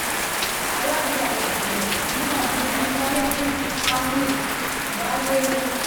alága ìgbìmọ̀ náà ni honarebu kamil baiyewu